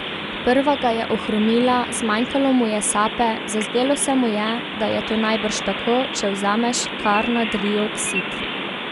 Prva ga je ohromila, zmanjkalo mu je sape, zazdelo se mu je, da je to najbrž tako, če vzameš karnadrioksid.